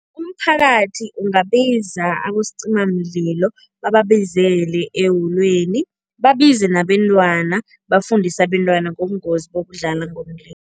Umphakathi ungabiza abosicimamlilo, bababizele eholweni, babize nabentwana, bafundise abentwana ngobungozi bokudlala ngomlilo.